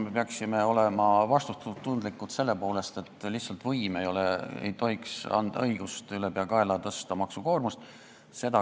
Me peaksime olema vastutustundlikud selle poolest, et võim ei tohiks lihtsalt anda õigust ülepeakaela maksukoormust tõsta.